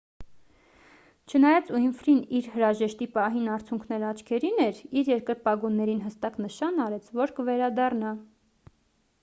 չնայած ուինֆրին իր հրաժեշտի պահին արցունքներն աչքերին էր իր երկրպագուներին հստակ նշան արեց որ կվերադառնա